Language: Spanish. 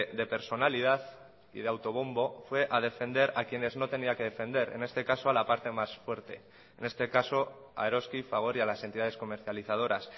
de personalidad y de autobombo fue a defender a quienes no tenía que defender en este caso a la parte más fuerte en este caso a eroski fagor y a las entidades comercializadoras